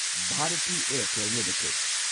Bharti Airtel limited